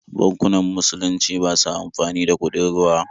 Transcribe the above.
Bankunan musulunci ba sa amfani da kuɗin ruwa.